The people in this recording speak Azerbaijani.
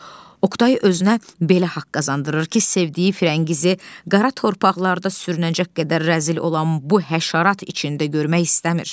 Oqtay özünə belə haqq qazandırır ki, sevdiyi Firəngizi qara torpaqlarda sürünəcək qədər rəzil olan bu həşarat içində görmək istəmir.